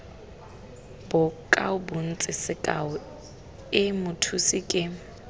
bokaobontsi sekao i mothusi ke